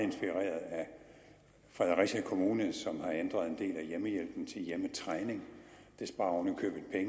fredericia kommune som har ændret en del af hjemmehjælpen til hjemmetræning det sparer oven